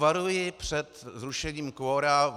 Varuji před zrušením kvora.